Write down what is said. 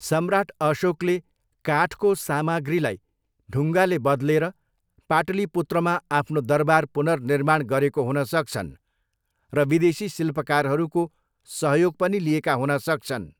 सम्राट अशोकले काठको सामाग्रीलाई ढुङ्गाले बदलेर पाटलिपुत्रमा आफ्नो दरबार पुनर्निर्माण गरेको हुन सक्छन् र विदेशी शिल्पकारहरूको सहयोग पनि लिएका हुन सक्छन्।